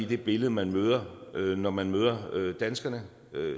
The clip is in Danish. det billede man møder når man møder danskerne